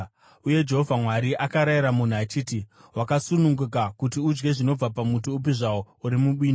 Uye Jehovha Mwari akarayira munhu achiti, “Wakasununguka kuti udye zvinobva pamuti upi zvawo uri mubindu;